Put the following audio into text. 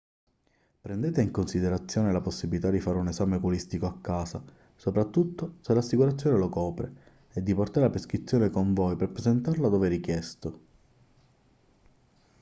prendete in considerazione la possibilità di fare un esame oculistico a casa soprattutto se l'assicurazione lo copre e di portare la prescrizione con voi per presentarla dove richiesto